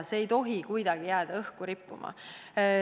See ei tohi kuidagi jääda õhku rippuma.